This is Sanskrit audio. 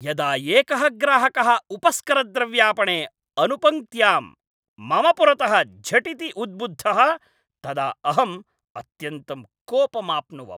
यदा एकः ग्राहकः उपस्करद्रव्यापणे अनुपङ्क्त्याम् मम पुरतः झटिति उद्बुद्धः तदा अहं अत्यन्तं कोपमाप्नुवम्।